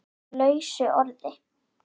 lausu orði